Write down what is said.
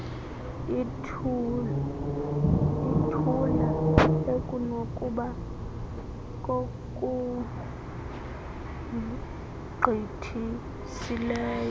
ithula ekunokuba kokugqithisileyo